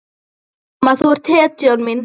Mamma, þú ert hetjan mín.